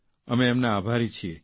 અમે તેમના આભારી છીએ